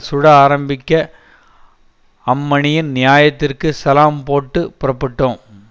சுட ஆரம்பிக்க அம்மணியின் நியாயத்திற்கு சலாம் போட்டு புறப்புட்டோம்